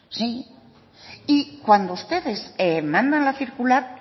sí y cuando ustedes mandan la circular